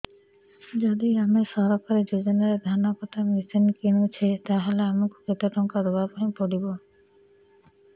ଯଦି ଆମେ ସରକାରୀ ଯୋଜନାରେ ଧାନ କଟା ମେସିନ୍ କିଣୁଛେ ତାହାଲେ ଆମକୁ କେତେ ଟଙ୍କା ଦବାପାଇଁ ପଡିବ